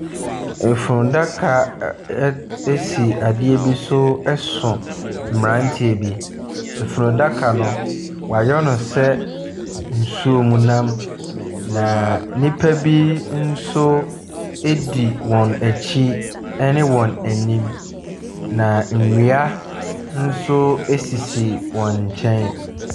Funu daka ɛɛ ɛd si adeɛ bi so so mmeranteɛ bi. Funu daka no, wɔayɛ no sɛ nsuom nam, na nnipa bo nso di wɔn akyi, ne wɔn anim, na nnua nso sisi wɔn nkyɛn.